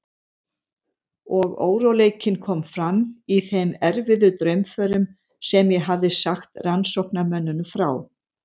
Og óróleikinn kom fram í þeim erfiðu draumförum sem ég hafði sagt rannsóknarmönnum frá.